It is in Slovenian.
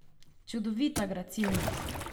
Čudovita gracilnost!